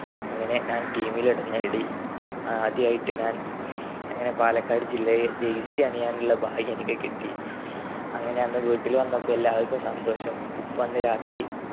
അങ്ങനെ ഞാൻ team ലിടുന്ന ഇടി ആദ്യായിട്ട് ഞാൻ അങ്ങനെ പാലക്കാട് ജില്ലയ്ലെ jersey അണിയാനുള്ള ഭാഗ്യം എനിക്ക് കിട്ടി. അങ്ങനെ അന്ന് വീട്ടിൽ വന്നപ്പോ എല്ലാവർക്കും സന്തോഷം. ഉപ്പ അന്ന് രാത്രി